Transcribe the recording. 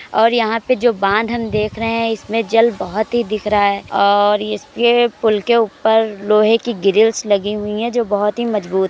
और यहाँ पे जो बांध हम देख रहे हैं। इसमें जल बहुत ही दिख रहा है और इसके पुल के ऊपर लोहे की ग्रिल्स लगी हुई है जो बहुत ही मजबूत --